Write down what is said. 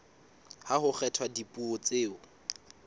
ha ho kgethwa dipuo tseo